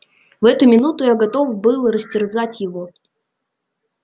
в эту минуту я готов был растерзать его